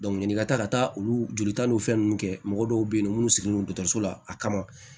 n'i ka taa ka taa olu jolita n'o fɛn ninnu kɛ mɔgɔ dɔw bɛ yen nɔ minnu sigilen don dɔgɔtɔrɔso la a kama